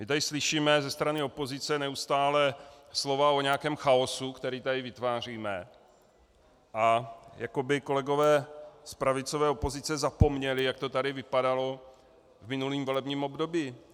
My tady slyšíme ze strany opozice neustále slova o nějakém chaosu, který tady vytváříme, a jako by kolegové z pravicové opozice zapomněli, jak to tady vypadalo v minulém volebním období.